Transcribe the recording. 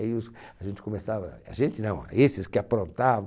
Aí os... A gente começava... A gente não, esses que aprontavam...